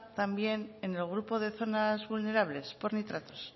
también en el grupo de zonas vulnerables por nitratos